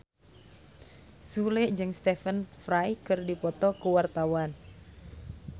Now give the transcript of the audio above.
Sule jeung Stephen Fry keur dipoto ku wartawan